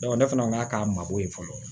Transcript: ne fana ka k'a ma ko ye fɔlɔ